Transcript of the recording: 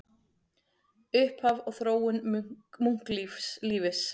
Upphaf og þróun munklífis